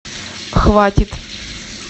хватит